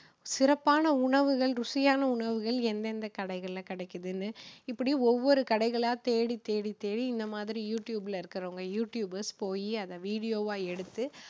சிறப்பான உணவுகள் ருசியான உணவுகள் எந்தெந்த கடைகளில கிடைக்குதுன்னு, இப்படி ஒவ்வொரு கடைகளா தேடி தேடி தேடி இந்த மாதிரி யூ டியூப்ல இருக்குறவங்க யூ டியூபர்ஸ் போயி அதை வீடியோவா எடுத்து